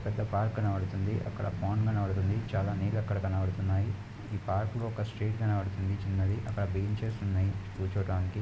ఇక్కడ పార్క్ కనబడుతుంది. అక్కడ పండ్ కనబడుతుంది. చాలా నీళ్ళు అక్కడ కనబడుతున్నాయి. ఇది పార్క్ లో ఒక స్ట్రీట్ కనబడుతుంది చిన్నది. అక్కడ బెంచెస్ ఉన్నాయి కూర్చోటానికి.